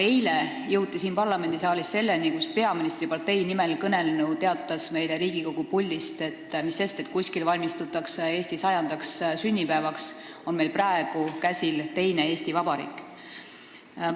Eile aga jõuti siin parlamendisaalis selleni, et peaministripartei nimel kõnelnu teatas meile Riigikogu puldist, et mis sest, et kuskil valmistutakse Eesti 100. sünnipäevaks, meil on praegu käsil teine Eesti Vabariik.